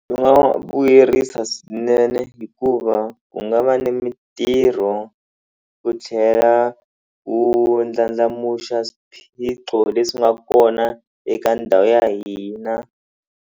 U nga vuyerisa swinene hikuva ku nga va ni mitirho ku tlhela ku ndlandlamuxa swiphiqo leswi nga kona eka ndhawu ya hina.